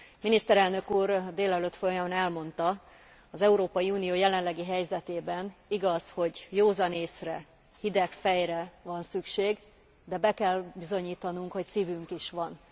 Miniszterelnök úr a délelőtt folyamán elmondta, az Európai Unió jelenlegi helyzetében igaz, hogy józan észre, hideg fejre van szükség, de be kell bizonyítanunk, hogy szívünk is van.